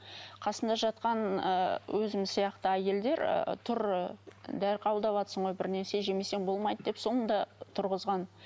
қасымда жатқан ы өзім сияқты әйелдер ы тұр дәрі қабылдаватсың ғой бір нәрсе жемесең болмайды деп соңында тұрғызған